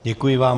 Děkuji vám.